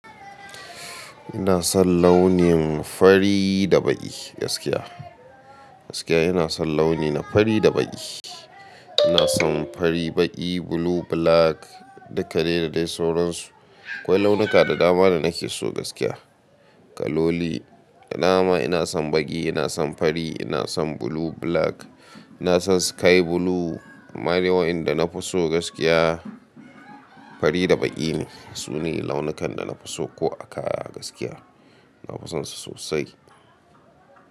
Ina son launin fari da baƙi gaskiya. Gaskiya ina son launi na fari da baƙi. Ina son fari, baƙi, blue, black duka dai da dai sauransu. Akwai launuka da dama da nake so gaskiya. Kaloli, da dama ina son baƙi, ina son fari, ina son blue, black. Ina son sky blue. Amma dai wa'inda na fi so gaskiya fari da baƙi ne. Su ne launukan da na fi so ko a kaya gaskiya. Na fi son su sosai.